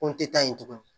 Ko n tɛ taa yen tugun